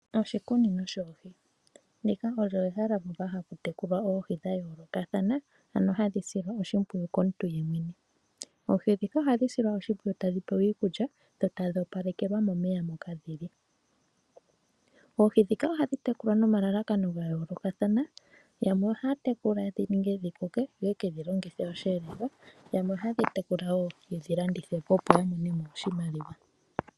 Oshikunino shoohi. Ndika olyo ehala moka hamu tekulwa oohi dha yoolokathana ano hadhi silwa oshimwiyu komuntu yemwene. Oohi dhika ohadhi silwa oshimpwiyu tadhi pewa iikulya dho tadhi opalekelwa momeya moka dhili. Oohi dhika ohadhi tekulwa nomalalakano ga yoolokathana yamwe ohaa tekula dhininge dhikoke yoyekedhi longithe osheelelwa yamwe ohaadhi tekula wo yedhi landithepo opo yamonemo oshimaliwa.